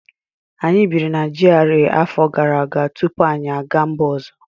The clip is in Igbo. Anyị biri na GRA afọ gara aga tupu anyị aga mba ọzọ